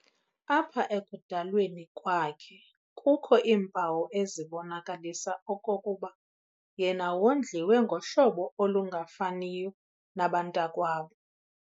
Apha ekudalweni kwakhe kukho iimpawu ezibonakalisa okokuba yena wondliwe ngohlobo olungafaniyo nabantakwabo.